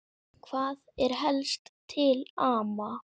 Hvað er helst til ama?